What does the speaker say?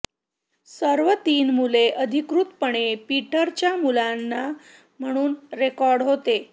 सर्व तीन मुले अधिकृतपणे पीटर च्या मुलांना म्हणून रेकॉर्ड होते